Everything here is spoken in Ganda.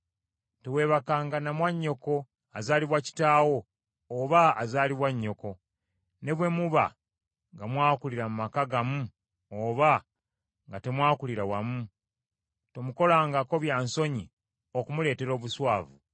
“ ‘Teweebakanga na mwannyoko, azaalibwa kitaawo, oba azaalibwa nnyoko, ne bwe muba nga mwakulira mu maka gamu oba nga temwakulira wamu, tomukolangako bya nsonyi okumuleetera obuswavu.